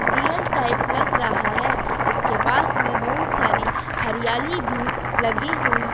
real type लग रहा है इसके पास में बहुत सारी हरीयाली भी लगी हुई--